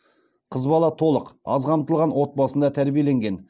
қыз бала толық аз қамтылған отбасында тәрбиеленген